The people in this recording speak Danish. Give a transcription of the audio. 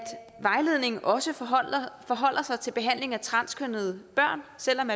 vejledningen også forholder sig til behandling af transkønnede børn selv om